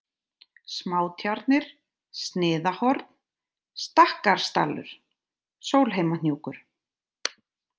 Smátjarnir, Sniðahorn, Stakkarsdalur, Sólheimahnjúkur